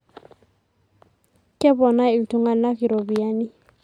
Keponaa iltunganak iropiyiani.